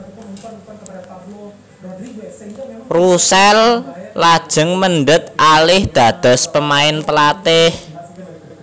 Russell lajeng mendhet alih dados pemain pelatih